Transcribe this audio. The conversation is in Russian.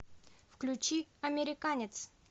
включи американец